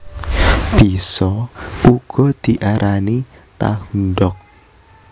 Bisa uga diarani Tahundog